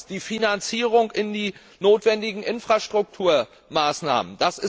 Zweitens die Finanzierung in die notwendigen Infrastrukturmaßnahmen.